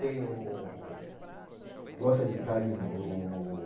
Tem o... Gosta de carinho, o...